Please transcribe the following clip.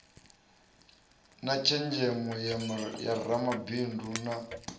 na tshenzhemo ya ramabindu na